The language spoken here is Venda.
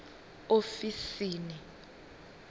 ofisi